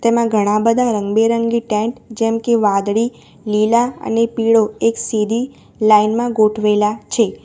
એમાં ઘણા બધા રંગબેરંગી ટેન્ટ જેમકે વાદળી લીલા અને પીળો એક સીધી લાઈન માં ગોઠવેલા છે.